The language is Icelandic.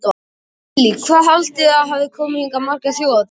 Lillý: Hvað haldið þið að þið hafið komið hingað margar þjóðhátíðar?